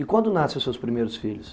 E quando nascem os seus primeiros filhos?